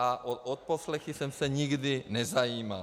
A o odposlechy jsem se nikdy nezajímal.